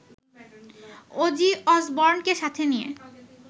Aussie অসবর্নকে সাথে নিয়ে